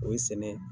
O ye sɛnɛ ye